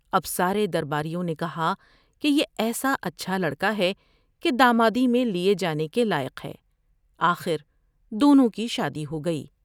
اب سارے درباریوں نے کہا کہ یہ ایسا اچھا لڑ کا ہے کہ دامادی میں لیے جانے کے لائق ہے ۔آخر دونوں کی شادی ہوگئی ۔